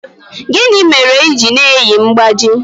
Gịnị mere i ji na-eyi mgbájí?